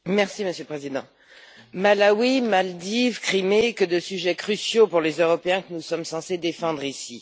Monsieur le Président, Malawi, Maldives, Crimée, que de sujets cruciaux pour les Européens que nous sommes censés défendre ici!